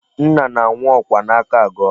Nna na-anwụ ọkwa n'aka aga ọrụ.